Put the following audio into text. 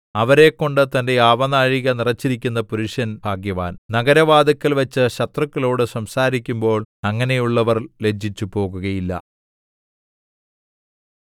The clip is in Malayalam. അവരെക്കൊണ്ട് തന്റെ ആവനാഴിക നിറച്ചിരിക്കുന്ന പുരുഷൻ ഭാഗ്യവാൻ നഗരവാതില്ക്കൽവച്ച് ശത്രുക്കളോടു സംസാരിക്കുമ്പോൾ അങ്ങനെയുള്ളവർ ലജ്ജിച്ചു പോകുകയില്ല